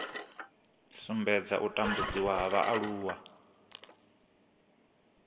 sumbedza u tambudziwa ha vhaaluwa